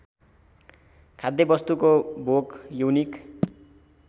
खाद्यवस्तुको भोक यौनिक